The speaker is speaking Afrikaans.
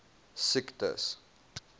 siektes